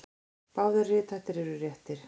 Báðir rithættir eru réttir.